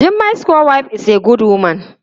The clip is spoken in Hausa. Jummai's co- wife is a good woman.